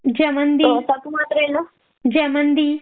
ജമന്തി, ജമന്തി